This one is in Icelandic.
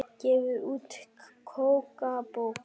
Gefur út kokkabók